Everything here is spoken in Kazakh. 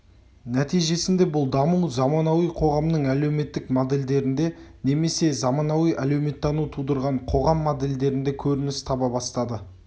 нәтижесінде бұл даму заманауи қоғамның әлеуметтік модельдерінде немесе заманауи әлеуметтану тудырған қоғам модельдерінде көрініс таба бастады